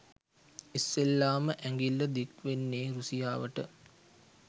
ඉස්සෙල්ලාම ඇඟිල්ල දික්වෙන්නෙ රුසියාවට